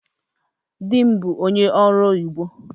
Dị m bụ ónyé ọrụ oyibo